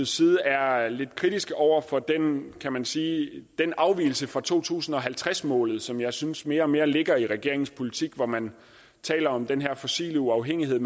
side er lidt kritiske over for den kan man sige afvigelse fra to tusind og halvtreds målet som jeg synes mere og mere ligger i regeringens politik hvor man taler om den her fossile uafhængighed